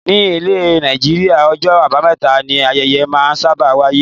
Ní ile Nàìjíríà, ọjọ́ abameta ni ayẹyẹ máa ń sábà wáyé.